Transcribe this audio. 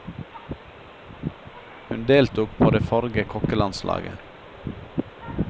Hun deltok på det forrige kokkelandslaget.